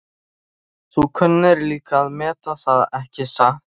Þú kunnir líka að meta það, ekki satt?